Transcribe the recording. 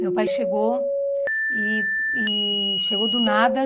Meu pai chegou e e chegou do nada.